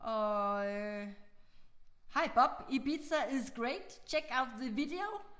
Og øh hi Bob Ibiza is great check out the video